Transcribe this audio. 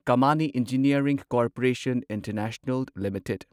Kamani engineering corporation international limited